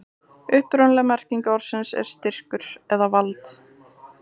upprunaleg merking orðsins er styrkur eða vald